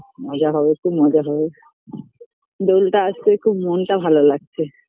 মজা হবে খুব মজা হবে দোলটা আসছে খুব মনটা ভালো লাগছে